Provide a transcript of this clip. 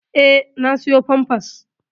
Eh na siƴo pampas.